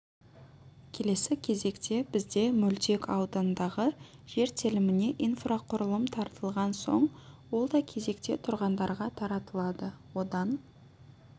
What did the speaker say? келесі кезекте бізде мөлтек аудандағы жер теліміне инфрақұрылым тартылған соң ол да кезекте тұрғандарға таратылады одан